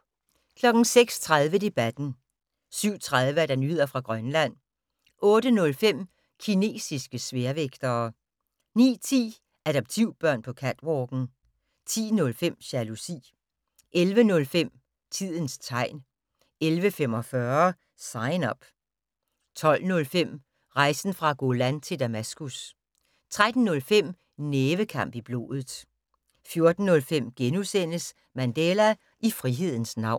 06:30: Debatten 07:30: Nyheder fra Grønland 08:05: Kinesiske sværvægtere 09:10: Adoptivbørn på catwalken 10:05: Jalousi 11:05: Tidens tegn 11:45: Sign Up 12:05: Rejsen fra Golan til Damaskus 13:05: Nævekamp i blodet 14:05: Mandela - i frihedens navn *